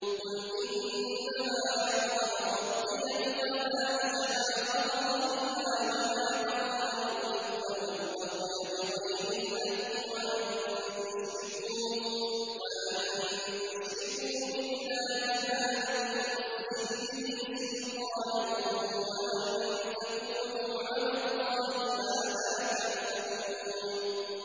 قُلْ إِنَّمَا حَرَّمَ رَبِّيَ الْفَوَاحِشَ مَا ظَهَرَ مِنْهَا وَمَا بَطَنَ وَالْإِثْمَ وَالْبَغْيَ بِغَيْرِ الْحَقِّ وَأَن تُشْرِكُوا بِاللَّهِ مَا لَمْ يُنَزِّلْ بِهِ سُلْطَانًا وَأَن تَقُولُوا عَلَى اللَّهِ مَا لَا تَعْلَمُونَ